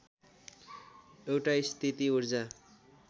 एउटा स्थिति ऊर्जा